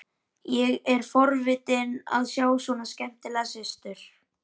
Ég er forvitinn að sjá svona skemmtilega systur.